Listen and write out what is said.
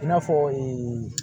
I n'a fɔ